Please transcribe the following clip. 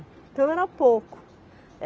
Então era pouco.